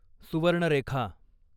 Subarnarekha